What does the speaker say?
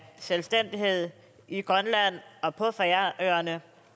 selvstændighed i grønland og på færøerne